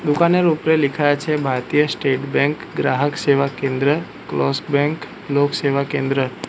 দোকানের উপরে লিখা আছে ভারতীয় স্টেট ব্যাঙ্ক গ্রাহক সেবা কেন্দ্র ক্লোস্ক ব্যাঙ্ক লোক সেবা কেন্দ্র।